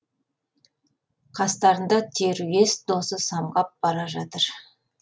қастарында теруес досы самғап бара жатыр